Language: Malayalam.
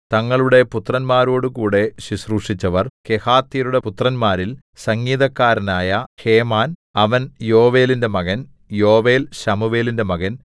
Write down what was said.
തങ്ങളുടെ പുത്രന്മാരോടുകൂടെ ശുശ്രൂഷിച്ചവർ കെഹാത്യരുടെ പുത്രന്മാരിൽ സംഗീതക്കാരനായ ഹേമാൻ അവൻ യോവേലിന്റെ മകൻ യോവേൽ ശമൂവേലിന്റെ മകൻ